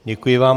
Děkuji vám.